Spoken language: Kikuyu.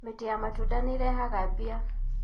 Mĩtĩ ya matunda nĩrehaga mbia.